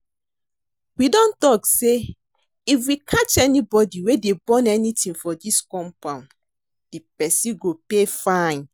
We don talk say if we catch anybody wey dey burn anything for dis compound, the person go pay fine